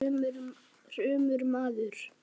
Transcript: Elsku Kari vinkona mín.